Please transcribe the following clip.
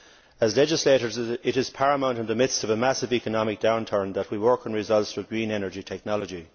As legislators, it is paramount, in the midst of a massive economic downturn, that we work on results for green energy technology.